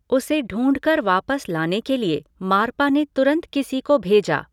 उसे ढ़ूंढकर वापस लाने के लिए मारपा ने तुरंत किसी को भेजा।